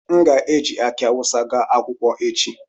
M ga-eji akị awụsa gaa akwụkwọ echi